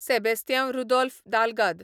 Sebastiao Rodolfo Dalgado